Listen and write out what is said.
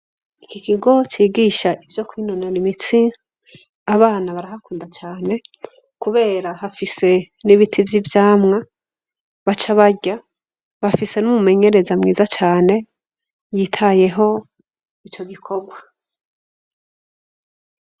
Iki kigo cigisha ivyo kwinonora imitsi abana barahakunda cane kubera hafise n'ibiti vy'ivyamwa baca barya bafise n'umumenyereza mwiza cane yitayeho ico gikorwa.